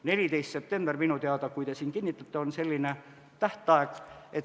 14. september, minu teada, kui te selle kinnitate, on tähtaeg.